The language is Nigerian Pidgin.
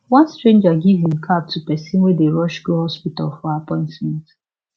one stranger give him cab to person wey dey rush go hospital for appointment